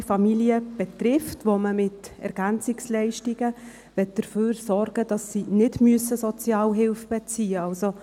Diese betrifft einkommensschwache Familien, und mit Ergänzungsleistungen möchte man dafür sorgen, dass diese keine Sozialhilfe beziehen müssen.